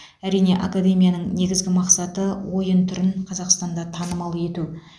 әрине академияның негізгі мақсаты ойын түрін қазақстанда танымал ету